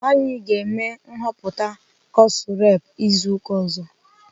Anyị ga-eme nhọpụta kọsụ rep izu ụka ọzọ.